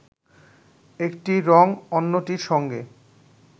একটি রঙ অন্যটির সঙ্গে